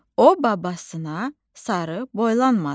O babasına sarı boylanmadı.